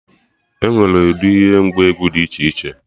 Enwere ụdị ihe ngwa egwu Did iche iche